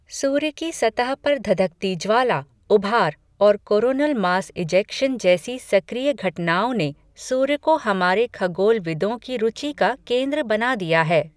सूर्य की सतह पर धधकती ज्वाला, ऊभार, और कोरोनल मास इजेक्शन जैसी सक्रिय घटनाओं ने सूर्य को हमारे खगोलविदों की रूचि का केंद्र बना दिया है।